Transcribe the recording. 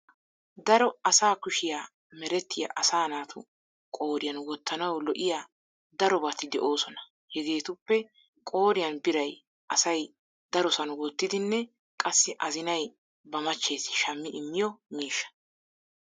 Daro as kushiya merettiya asa naatu qooriyan wottanawu lo'iya darobati de'oosona. Hegeetuppe qooriyan biray asay darosan wottidinne qassi azinay ba machchees shammi immiyo miishsha.